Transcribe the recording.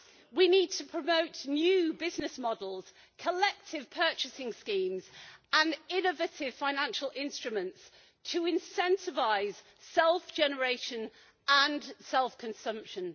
We need to promote new business models, collective purchasing schemes and innovative financial instruments to incentivise self generation and self consumption.